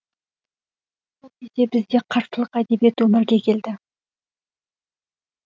сол кезде бізде қарсылық әдебиет өмірге келді